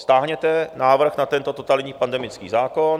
Stáhněte návrh na tento totalitní pandemický zákon.